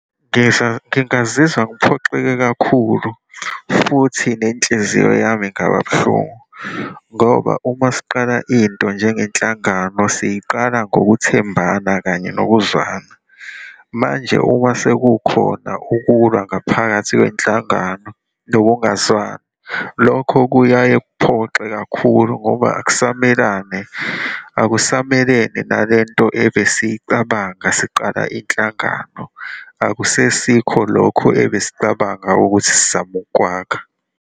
Ngisho ngingazizwa ngiphoxeke kakhulu futhi nenhliziyo yami ingaba buhlungu ngoba uma siqala into njengenhlangano, siyiqala ngokuthembana kanye nokuzwana. Manje uma sekukhona ukulwa ngaphakathi kwenhlangano nokungazwani, lokho kuyaye kuphoxe kakhulu, ngoba akusamelane, akusamelene nale nto ebesiyicabanga siqala inhlangano, akusesikho lokho ebesicabanga ukuthi sizama ukwakha.